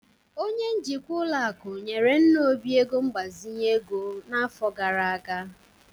Onye njikwa ụlọ akụ nyere nna Obi ego mgbazinye ego n'afọ gara aga